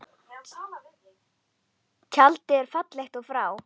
Tjaldið er fallið og frá.